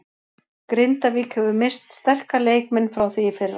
Grindavík hefur misst sterka leikmenn frá því í fyrra.